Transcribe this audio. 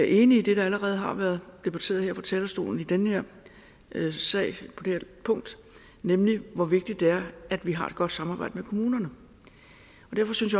enig i det der allerede har været debatteret her fra talerstolen i den her sag nemlig hvor vigtigt det er at vi har et godt samarbejde med kommunerne derfor synes